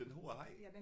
Den har jeg haft